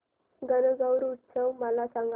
गणगौर उत्सव मला सांग